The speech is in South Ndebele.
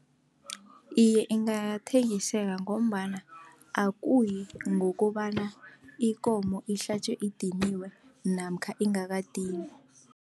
Iye, ingathengiseka ngombana akuyi ngokobana ikomo ihlatjwe idiniwe namkha ingakadinwa.